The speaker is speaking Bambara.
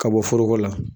Ka bɔ foroko la